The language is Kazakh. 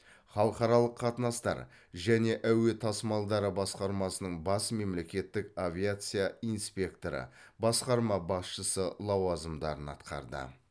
халықаралық қатынастар және әуе тасымалдары басқармасының бас мемлекеттік авиация инспекторы басқарма басшысы лауазымдарын атқарды